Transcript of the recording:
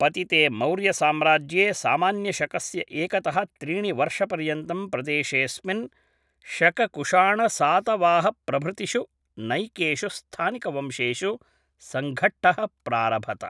पतिते मौर्यसाम्राज्ये सामान्यशकस्य एकतः त्रीणिवर्षपर्यन्तं प्रदेशेस्मिन् शककुशाणसातवाहप्रभृतिषु नैकेषु स्थानिकवंशेषु संघट्टः प्रारभत